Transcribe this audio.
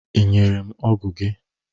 Ị nyere m ọgụ gị?